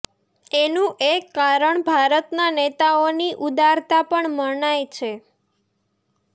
એનું એક કારણ ભારતના નેતાઓની ઉદારતા પણ મનાય છે